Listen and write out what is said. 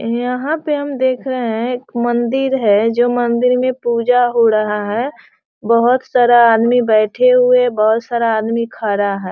यहाँ पे हम देख रहे हैं एक मंदिर है जो मंदिर में पूजा हो रहा है | बहुत सारा आदमी बेटे हुए बहुत सारा आदमी खड़ा है |